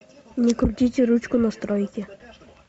не крутите ручку настройки